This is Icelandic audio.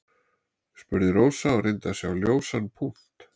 spurði Rósa og reyndi að sjá ljósan punkt.